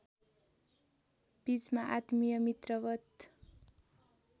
बीचमा आत्मीय मित्रवत्